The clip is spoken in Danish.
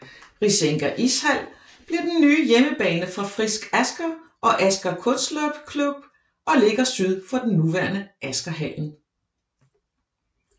Risenga Ishall bliver den nye hjemmebane for Frisk Asker og Asker Kunstløpklubb og ligger syd for den nuværende Askerhallen